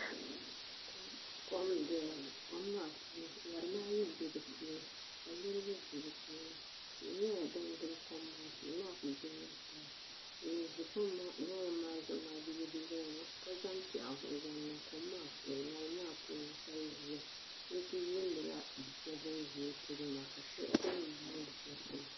Kom n doya ŋo kom maa puuni ŋarima ayi n bɛ di puuni ka niraba ʒi di puuni tihi nyɛla din gili kom maa tihi maa ku gbumla taba ban ʒi ŋarim maa zuɣu maaa bi yɛ liiga nima ka zaŋ piɛɣu n zaŋ niŋ kom maa puuni ka ʒia n ku yuundila bia shab bin ʒi o polo na ka shab gba mii yuundi shɛli polo